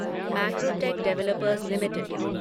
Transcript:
Macrotech Developers limited